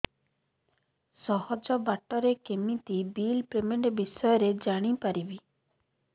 ସହଜ ବାଟ ରେ କେମିତି ବିଲ୍ ପେମେଣ୍ଟ ବିଷୟ ରେ ଜାଣି ପାରିବି